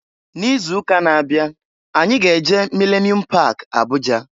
N'izuụka na-abịa anyị ga-eje Milenium pak Abụja.